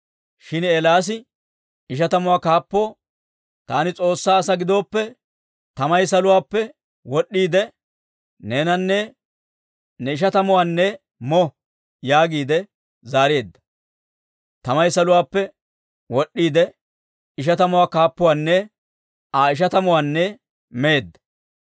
Shin Eelaasi ishatamuwaa kaappoo, «Taani S'oossaa asaa gidooppe, tamay saluwaappe wod'd'iide, neenanne ne ishatamatuwaanne mo» yaagiide zaareedda. Tamay saluwaappe wod'd'iide, ishatamuwaa kaappuwaanne Aa ishatamatuwaanne meedda.